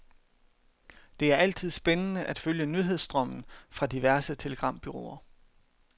Det er altid spændende at følge nyhedsstrømmen fra diverse telegrambureauer.